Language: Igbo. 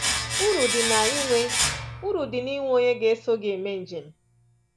Uru dị n’inwe Uru dị n’inwe onye ga-eso gị eme njem